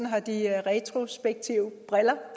har de retrospektive briller